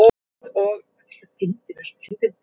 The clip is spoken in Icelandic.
Leituðuð þið meira að leikmönnum þar en hér heima?